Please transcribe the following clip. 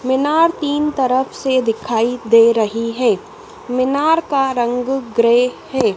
मीनार तीन तरफ से दिखाई दे रही है मीनार का रंग ग्रे है।